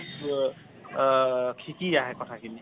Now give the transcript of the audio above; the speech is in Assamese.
অ আ শিকি আহে কথা খিনি